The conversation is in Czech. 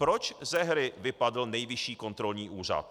Proč ze hry vypadl Nejvyšší kontrolní úřad?